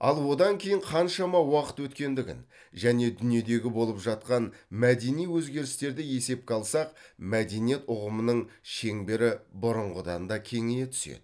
ал одан кейін қаншама уақыт өткендігін және дүниедегі болып жатқан мәдени өзгерістерді есепке алсақ мәдениет ұғымының шеңбері бұрынғыдан да кеңейе түседі